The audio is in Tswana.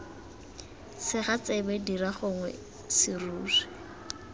sega tsebe dira gore serori